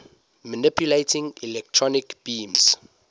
manipulating electron beams